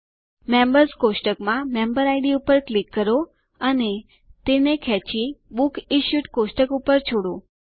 members કોષ્ટકમાં member ID ઉપર click કરો અને તેને ખેંચી બુક્સ ઇશ્યુડ કોષ્ટક ઉપર છોડો